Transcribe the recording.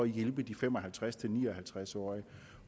hjælpe de fem og halvtreds til ni og halvtreds årige